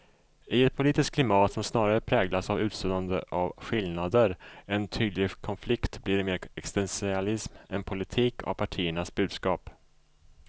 I ett politiskt klimat som snarare präglas av utsuddande av skillnader än tydlig konflikt blir det mer existentialism än politik av partiernas budskap.